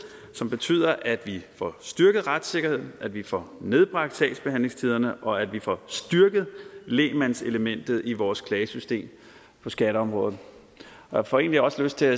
som betyder at vi får styrket retssikkerheden at vi får nedbragt sagsbehandlingstiderne og at vi får styrket lægmandselementet i vores klagesystem på skatteområdet jeg får egentlig også lyst til